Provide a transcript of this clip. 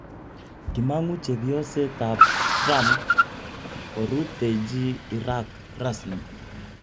Kimangu chepyoset ab Trump koruteji Iraq rasmi.